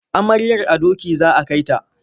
Amaryar a doki za a kai ta.